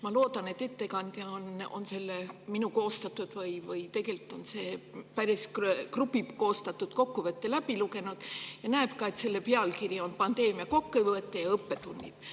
Ma loodan, et ettekandja on selle minu koostatud – tegelikult on see grupi koostatud – kokkuvõtte läbi lugenud ja nägi, et see on kokkuvõte pandeemia õppetundidest.